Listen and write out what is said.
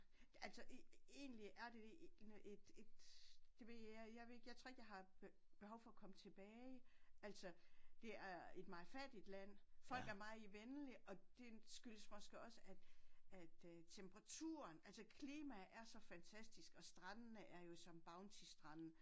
Altså egentlig er det et et det ved jeg jeg ved ikke jeg tror ikke jeg har behov for at komme tilbage altså det er et meget fattigt land folk er meget venlige og det skyldes måske også at at øh temperaturen altså klimaet er så fantastisk og strandende er jo som bounty strande